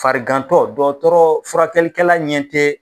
Farigantɔ dɔtɔrɔ furakɛlikɛla ɲɛ tɛ